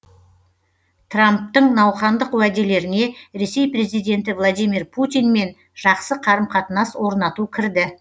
трамптың науқандық уәделеріне ресей президенті владимир путинмен жақсы қарым қатынас орнату кірді